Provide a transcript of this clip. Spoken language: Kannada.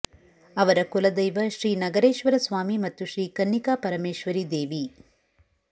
ಅವರ ಕುಲದೈವ ಶ್ರೀ ನಗರೇಶ್ವರ ಸ್ವಾಮಿ ಮತ್ತು ಶ್ರೀ ಕನ್ನಿಕಾಪರಮೇಶ್ವರಿ ದೇವಿ